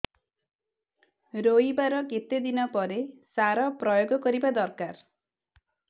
ରୋଈବା ର କେତେ ଦିନ ପରେ ସାର ପ୍ରୋୟାଗ କରିବା ଦରକାର